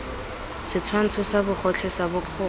setshwantsho sa bogotlhe sa bokgoni